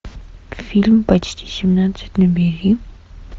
фильм почти семнадцать набери